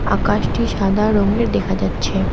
আকাশটি সাদা রঙের দেখা যাচ্ছে।